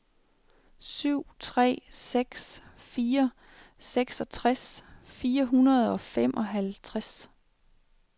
syv tre seks fire seksogtres fire hundrede og femoghalvtreds